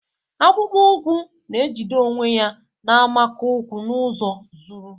Akpụkpọ ụkwụ na-ejide onwe ya na-amakụ ụkwụ n'ụzọ zuru.